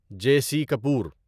جے C Kapoor